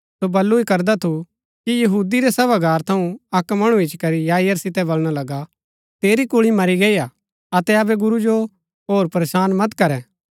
सो बल्लू ही करदा थु कि यहूदी रै सभागार थऊँ अक्क मणु इच्ची करी याईर सितै बलणा लगा तेरी कुल्ळी मरी गई हा अतै अबै गुरू जो होर परेशान मत करै